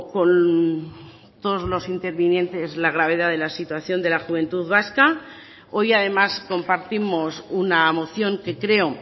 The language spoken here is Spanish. con todos los intervinientes la gravedad de la situación de la juventud vasca hoy además compartimos una moción que creo